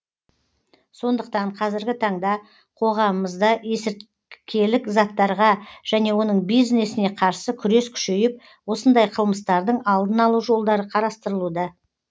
сондықтан қазіргі таңда қоғамымызда есірткілік заттарға және оның бизнесіне қарсы күрес күшейіп осындай қылмыстардың алдын алу жолдары қарастырылуда